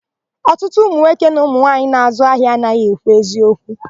Ọtụtụ ụmụnwoke na ụmụmwaanyị na-àzụ́ ahịa anaghị ekwu eziokwu.